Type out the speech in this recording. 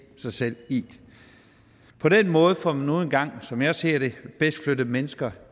sig selv i på den måde får man nu engang som jeg ser det bedst flyttet mennesker